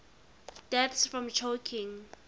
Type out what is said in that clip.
deaths from choking